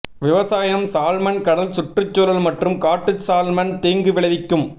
விவசாயம் சால்மன் கடல் சுற்றுச்சூழல் மற்றும் காட்டு சால்மன் தீங்கு விளைவிக்கும்